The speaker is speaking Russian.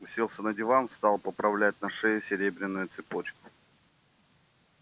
уселся на диван стал поправлять на шее серебряную цепочку